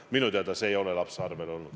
Minu teada see raha ei ole lapse kontol olnud.